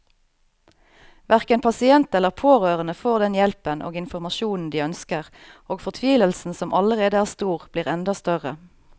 Hverken pasient eller pårørende får den hjelpen og informasjonen de ønsker, og fortvilelsen som allerede er stor, blir enda større.